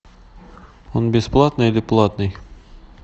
он бесплатный или платный